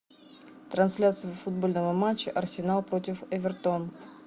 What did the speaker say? трансляция футбольного матча арсенал против эвертон